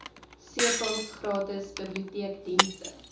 cpals gratis biblioteekdienste